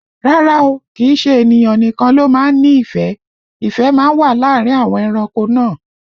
Rárá o, kìí ṣe ènìyàn nìkan ló má ń nífẹ̀ẹ́, ìfẹ́ má ń wà láàrin àwọn ẹranko náà